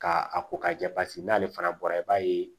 Ka a ko k'a jɛ paseke n'ale fana bɔra i b'a ye